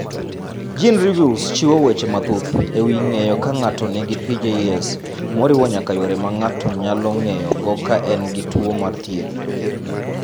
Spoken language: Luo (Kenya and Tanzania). Genereviews chiwo weche mathoth e wi ng�eyo ka ng�ato nigi PJS moriwo nyaka yore ma ng�ato nyalo ng�eyogo ka en gi tuo mar thieth.